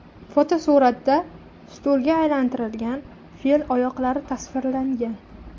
Fotosuratda stulga aylantirilgan fil oyoqlari tasvirlangan.